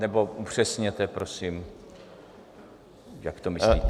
Nebo upřesněte, prosím, jak to myslíte.